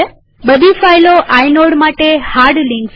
બધી ફાઈલો આઇનોડ માટે હાર્ડ લિંક્સ છે